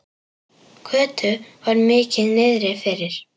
Kötu var mikið niðri fyrir.